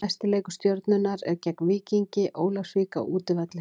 Næsti leikur Stjörnunnar er gegn Víkingi Ólafsvík á útivelli.